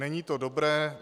Není to dobré.